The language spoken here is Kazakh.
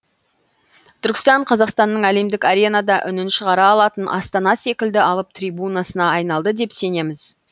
түркістан қазақстанның әлемдік аренада үнін шығара алатын астана секілді алып трибунасына айналды деп сенеміз